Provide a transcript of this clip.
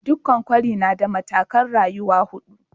Dukan kwari na da matakai'n rayuwa hudu.